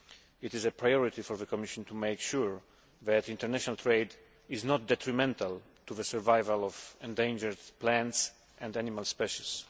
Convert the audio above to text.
It is a priority for the Commission to make sure that international trade is not detrimental to the survival of endangered plants and animal species.